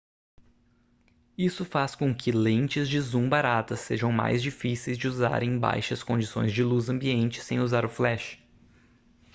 isso faz com que lentes de zoom baratas sejam mais difíceis de usar em baixas condições de luz ambiente sem usar o flash